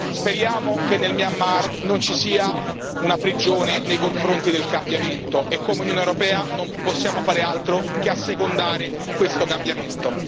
Speriamo che nel Myanmar non ci sia una prigione nei confronti del cambiamento e come Unione europea, non possiamo fare altro che assecondare questo cambiamento.